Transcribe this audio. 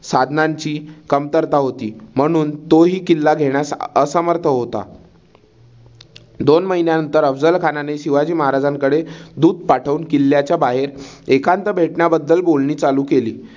साधनांची कमतरता होती. म्हनुन तो ही किल्ला घेण्यास असमर्थ होता. दोन महिन्यानंतर अफझल खानाने शिवाजी महाराजांकडे दूत पाठवून किल्ल्याच्या बाहेर एकांत भेटण्याबद्दल बोलणी चालू केली.